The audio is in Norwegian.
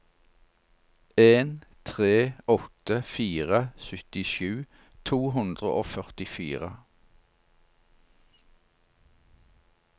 en tre åtte fire syttisju to hundre og førtifire